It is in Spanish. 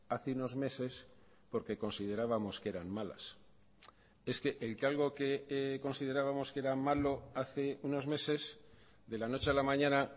hace unos meses porque considerábamos que eran malas es que el que algo que considerábamos que era malo hace unos meses de la noche a la mañana